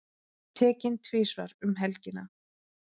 Tekinn tvisvar um helgina